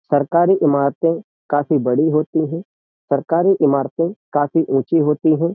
सरकारी इमारतें काफी बड़ी होती हैं सरकारी इमारतें काफी ऊँची होती हैं।